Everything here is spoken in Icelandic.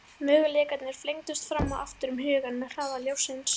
Möguleikarnir flengdust fram og aftur um hugann með hraða ljóssins.